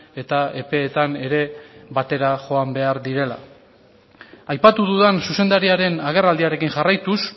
eta epeetan ere batera joan behar direla aipatu dudan zuzendariaren agerraldiarekin jarraituz